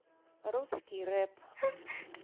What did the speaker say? русский рэп